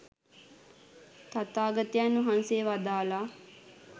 තථාගතයන් වහන්සේ වදාළා.